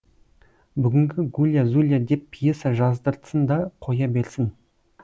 бүгінгі гулья зулья деп пьеса жаздыртсын да қоя берсін